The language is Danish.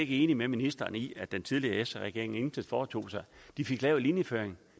ikke enig med ministeren i at den tidligere sr regering intet foretog sig de fik lavet linjeføringen